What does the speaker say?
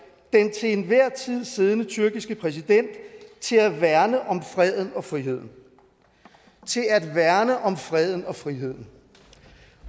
til enhver tid siddende tyrkiske præsident til at værne om freden og friheden til at værne om freden og friheden